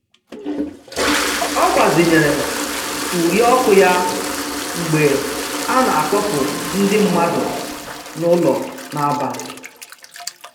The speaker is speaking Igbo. Ọ gbazinyere uri ọkụ ya mgbe a na-akpọpụ ndị mmadụ n'ụlọ n'abalị.